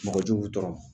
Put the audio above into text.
Mɔgɔ jugu tɔw ma